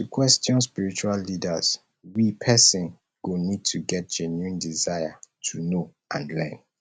to question spiritual leaders we person go need to get genuine desire to know and learn